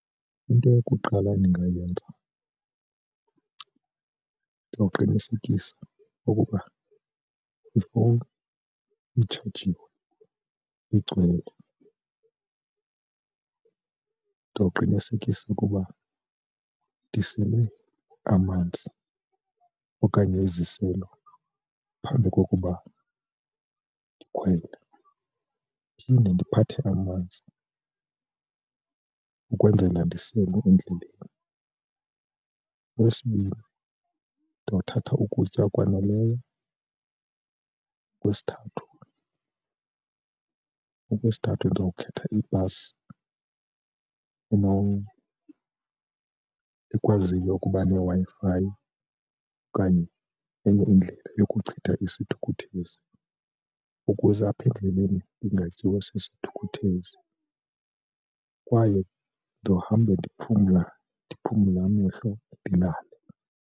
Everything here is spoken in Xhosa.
Into yokuqala ndingayenza ndawuqinisekisa ukuba ifowuni itshajiwe igcwele, ndowuqinisekisa ukuba ndisele amanzi okanye iziselo phambi kokuba ndikhwele. Phinde ndiphathe amanzi ukwenzela mandisele endleleni, eyesibini ndothatha ukutya okwaneleyo. Okwesithathu, okwesithathu ndizowukhetha ibhasi ekwaziyo ukuba neWi-Fi okanye enye indlela yokuchitha isithukuthezi ukuze apha endleleni ndingatyiwa sisithukuthezi, kwaye ndizohambe ndiphumla, ndiphumla amehlo ndilale.